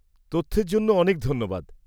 -তথ্যের জন্য অনেক ধন্যবাদ।